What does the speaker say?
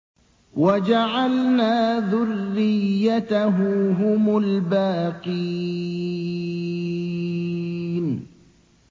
وَجَعَلْنَا ذُرِّيَّتَهُ هُمُ الْبَاقِينَ